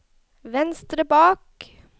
venstre bak